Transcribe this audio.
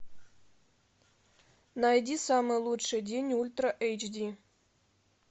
найди самый лучший день ультра эйч ди